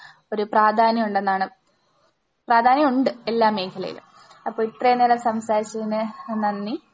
ഒരു പ്രാധാന്യം ഉണ്ടെന്നാണ്, പ്രാധാന്യം ഉണ്ട് എല്ലാ മേഖലയിലും. അപ്പോ ഇത്രയും നേരം സംസാരിച്ചതിന് നന്ദി.